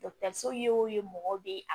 ye mɔgɔw de